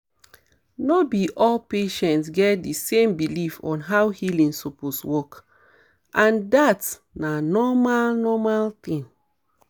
no be all patients get di same belief on how healing suppose work and dat na normal normal thing